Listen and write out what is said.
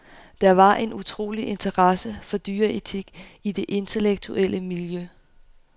Der var en utrolig interesse for dyreetik i det intellektuelle miljø.